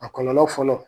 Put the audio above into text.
A kɔlɔlɔ fɔlɔ